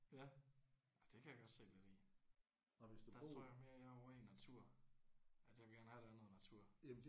Ja det kan jeg godt se værdien i. Der tror jeg mere jeg er ovre i natur at jeg vil gerne have at der er noget natur